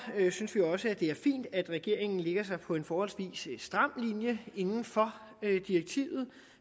synes vi også det er fint at regeringen lægger sig på en forholdsvis stram linje inden for direktivet